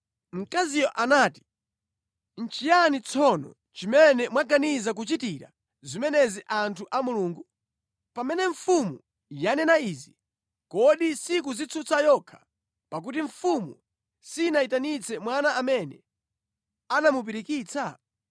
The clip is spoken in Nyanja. Mkaziyo anati, “Nʼchiyani tsono chimene mwaganiza kuchitira zimenezi anthu a Mulungu? Pamene mfumu yanena izi, kodi sikudzitsutsa yokha, pakuti mfumu sinayitanitse mwana amene anamupirikitsa?